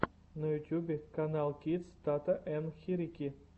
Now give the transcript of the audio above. на ютьюбе каналкидс тата ен хирики